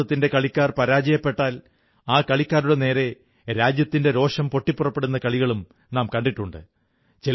ഭാരതത്തിന്റെ കളിക്കാർ പരാജയപ്പെട്ടാൽ ആ കളിക്കാരുടെ നേരെ രാജ്യത്തിന്റെ രോഷം പൊട്ടിപ്പുറപ്പെടുന്ന കളികളും നാം കണ്ടിട്ടുണ്ട്